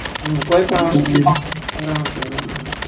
કોઈ પણ વસ્તુ એ